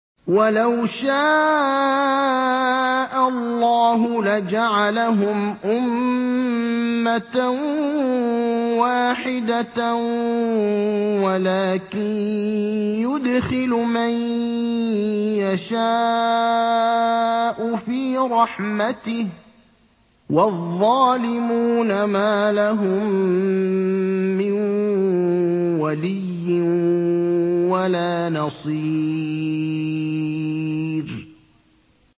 وَلَوْ شَاءَ اللَّهُ لَجَعَلَهُمْ أُمَّةً وَاحِدَةً وَلَٰكِن يُدْخِلُ مَن يَشَاءُ فِي رَحْمَتِهِ ۚ وَالظَّالِمُونَ مَا لَهُم مِّن وَلِيٍّ وَلَا نَصِيرٍ